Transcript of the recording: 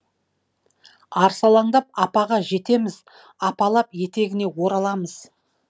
арсалаңдап апаға жетеміз апалап етегіне ораламыз